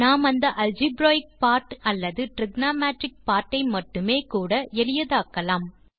நாம் அந்த algebraic part அல்லது டிரிகோனோமெட்ரிக் பார்ட் ஐ மட்டுமே கூட எளியதாக்கலாம்